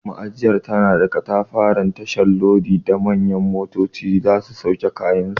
Ma'ajiyar tana da katafaren tashar lodi da manyan motoci za su sauke kayansu.